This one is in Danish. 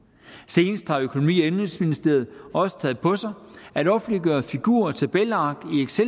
senest har økonomi og indenrigsministeriet også taget på sig at offentliggøre figur og tabelark